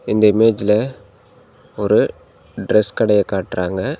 இந்த இமேஜ்ல ஒரு டிரஸ் கடைய காட்றாங்க.